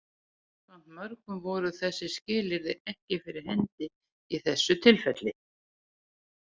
Samkvæmt mörgum voru þessi skilyrði ekki fyrir hendi í þessu tilfelli.